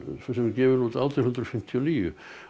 sem er gefin út átján hundruð fimmtíu og níu